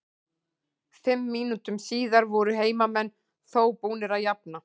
Fimm mínútum síðar voru heimamenn þó búnir að jafna.